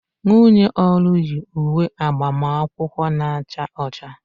Nwunye Olu yi uwe agbamakwụkwọ na-acha ọcha